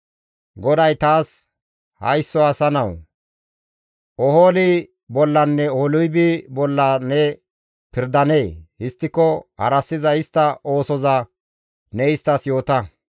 GODAY taas, «Haysso asa nawu! Oholi bollanne Oholibi bolla ne pirdanee? Histtiko harassiza istta oosoza ne isttas yoota.